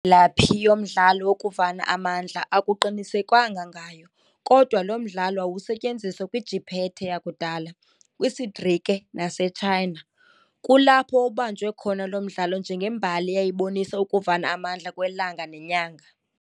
laphi yomdlalo wokuvana amandla akuqinisekwanga ngayo, kodwa lo mdlalo wawusenziwa kwiJiphethe yakudala, kwisiGrike naseChina, kulapho wawubanjwe khona lo mdlalo njengembali eyayibonisa ukuvana amandla kwelanga nenyanga.